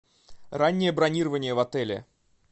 раннее бронирование в отеле